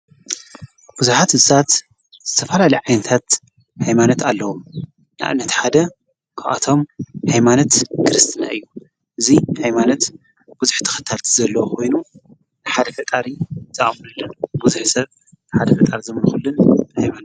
ብዙኃት ሳት ዝተፋልሊ ዓንታት ኃይማነት ኣለዉ ናእነት ሓደ እኣቶም ኃይማነት ክርስትና እዩ እዙይ ኃይማነት ብዙኅ ተኸታልቲ ዘለዉ ኾይኑ ሓደ ከቃሪ ዝኣሙኑል ጐዙኅ ሰብ ሓደ ፍጣር ዘምልኹሉን እዩ።